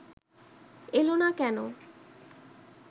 এল না কেন